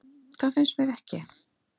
Það finnst mér ekki.